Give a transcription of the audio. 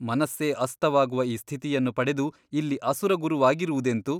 ಮನಸ್ಸೇ ಅಸ್ತವಾಗುವ ಆ ಸ್ಥಿತಿಯನ್ನು ಪಡೆದು ಇಲ್ಲಿ ಅಸುರಗುರುವಾಗಿರುವುದೆಂತು?